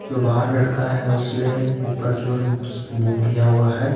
जो बाहर लड़का है उसने ऊपर की ओर मुंह किया हुआ है।